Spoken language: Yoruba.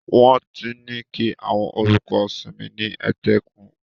Wọ́n ti ní kí àwọn olùkọ́ sinmi ní etíkun.